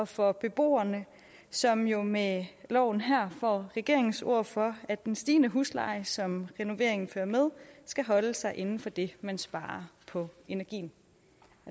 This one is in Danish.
for beboerne som jo med loven her får regeringens ord for at den stigende husleje som renoveringen fører med skal holde sig inden for det man sparer på energien